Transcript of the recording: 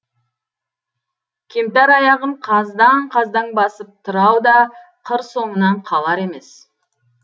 кемтар аяғын қаздаң қаздаң басып тырау да қыр соңынан қалар емес